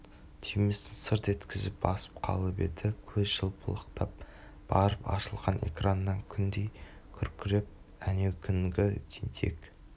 түймесін сырт еткізіп басып қалып еді көз жыпылықтап барып ашылған экраннан күндей күркіреп әнеукүнгі тентек